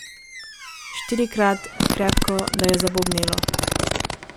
Štirikrat, krepko, da je zabobnelo.